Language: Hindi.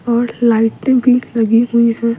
और लाइट भी लगी हुई है --